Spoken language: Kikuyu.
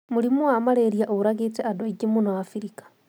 Mũrimũwa Mararia ũũragĩte andũaingĩ mũno Abirika